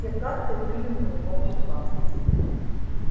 все карты были у него в руках